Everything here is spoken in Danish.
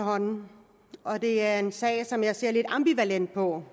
i mange år og det er en sag som jeg ser lidt ambivalent på